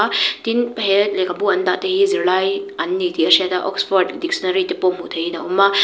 tin he lehkhabu an dah te hi zirlai an ni tih a hriat a oxford dictionary te pawh hmuh theih in a awm a.